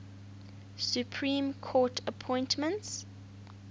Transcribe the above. supreme court appointments